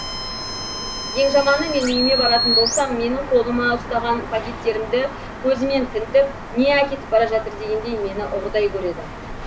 ең жаманы мен үйіме баратын болсам менің қолыма ұстаған пакеттерімді көзімен тінтіп не әкетіп бара жатыр дегендей мені ұрыдай көреді